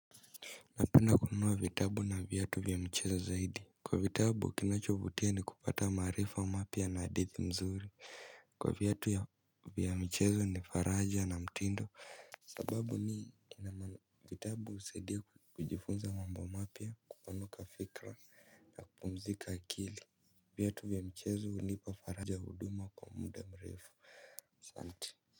Napenda kununua vitabu na viatu vya michezo zaidi kwa vitabu kinachovutia ni kupata maarifa mapya na hadithi mzuri kwa viatu ya vya michezo ni faraja na mtindo. Sababu ni vitabu husaidia kujifunza mambo mapya kupanuka fikira na kupumzika akili. Viatu vya michezo hunipa faraja hudumu kwa muda mrefu asante.